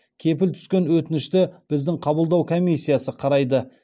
келіп түскен өтінішті біздің қабылдау комиссиясы қарайды